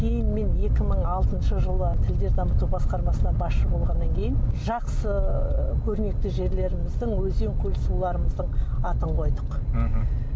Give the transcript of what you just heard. кейін мен екі мың алтыншы жылы тілдер дамыту басқармасына басшы болғаннан кейін жақсы көрнекті жерлеріміздің өзен көл суларымыздың атын қойдық мхм